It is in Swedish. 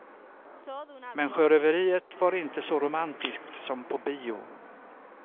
Men sjöröveriet var inte så romantiskt som på bio.